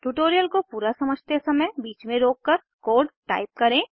tutorial को पूरा समझते समय बीच में रोककर कोड टाइप करें